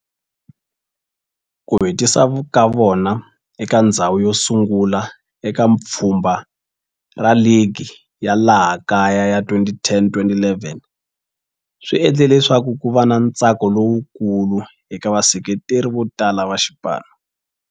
Ku hetisa ka vona eka ndzhawu yosungula eka pfhumba ra ligi ya laha kaya ya 2010-11 swi endle leswaku kuva na ntsako lowukulu eka vaseketeri votala va xipano.